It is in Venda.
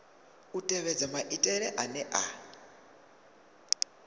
u tevhedza maitele ane a